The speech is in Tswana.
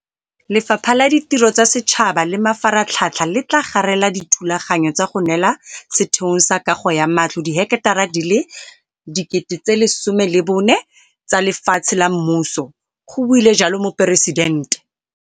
Lefapha la Ditiro tsa Setšhaba le Mafaratlhatlha le tla garela dithulaganyo tsa go neela Setheong sa Kago ya Matlo diheketara di le 14 000 tsa lefatshe la mmuso, go buile jalo Moporesidente.